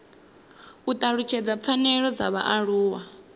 u talutshedza pfanelo dza vhaaluwa